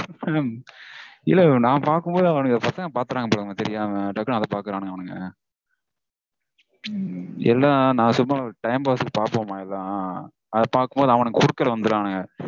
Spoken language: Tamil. madam இல்ல madam நா பாக்கும்போது பசங்க பாத்திடறாங்க mam தெரியாம. டக்குனு அத பாக்கறானுங்க அவனுங்க. எல்லா நா சும்மா ஒரு time pass க்கு பாப்போமா எல்லாம். அத பாக்கும்போது அவனுங்க குறுக்கல வந்துடறானுங்க